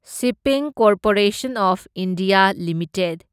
shipping corporation of India limited